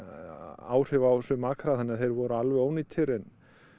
áhrif á suma akra þannig að þeir voru alveg ónýtir en